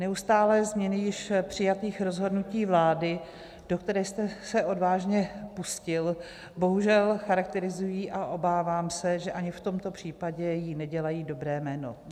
Neustálé změny již přijatých rozhodnutí vládu, do které jste se odvážně pustil, bohužel charakterizují a obávám se, že ani v tomto případě jí nedělají dobré jméno.